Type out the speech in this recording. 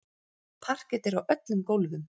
Parket er á öllum gólfum.